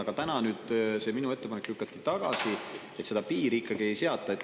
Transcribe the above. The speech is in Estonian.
Aga praegu lükati minu ettepanek tagasi, seda piiri ikkagi ei seata.